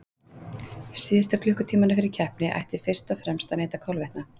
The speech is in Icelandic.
Síðustu klukkutímana fyrir keppni ætti fyrst og fremst að neyta kolvetna.